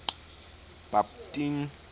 bhaptini